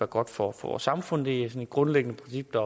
godt for vores samfund det er sådan et grundlæggende princip der